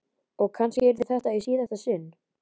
Og kannski yrði þetta í síðasta sinn.